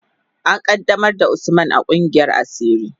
An qaddamar da Usman a kungiyar asiri.